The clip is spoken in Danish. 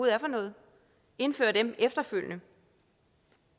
er for noget indføre dem efterfølgende